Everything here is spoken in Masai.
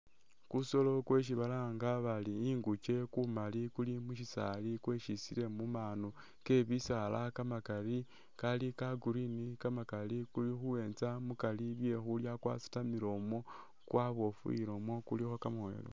Kusolo kwesi balanga bari inguke kumali kuli mu syisaali kweshisile mu manu ke bisaala kamakali ka Green kamakali kuli khuyenza mukali bye khulya kwasitamile umwo, kwabofuwile umwo, kulikho kamoya kamakali.